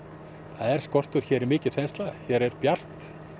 það er skortur hér er mikil þensla hér er bjart